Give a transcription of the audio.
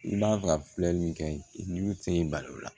I b'a fɛ ka filɛli min kɛ ni fɛn y'i bali o la